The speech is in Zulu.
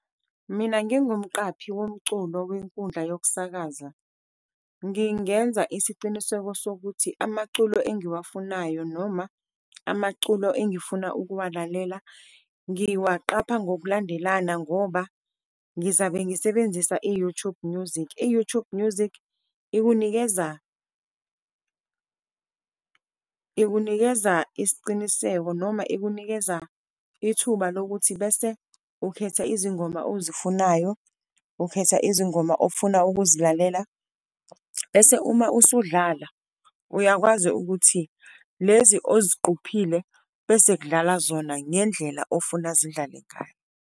Mina ngingumqaphi womculo wenkundla yokusakaza, ngingenza isiciniseko sokuthi amaculo engiwufunayo noma amaculo engifuna ukuwulalela ngiwaqapha ngokulandelana, ngoba ngizabe ngisebenzisa i-YouTube Music. I-YouTube Music ikunikeza, ikunikeza isiqiniseko noma ikunikeza ithuba lokuthi bese ukhetha izingoma ozifunayo, ukhetha izingoma ofuna ukuzilalela. Bese uma usudlala uyakwazi ukuthi lezi oziqophile, bese kudlala zona ngendlela ofuna zidlale ngayo.